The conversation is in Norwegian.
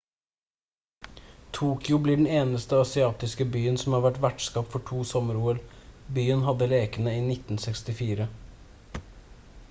tokyo blir den eneste asiatiske byen som har vært vertskap for to sommer-ol byen hadde lekene i 1964